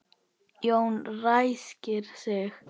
Jón ræskir sig.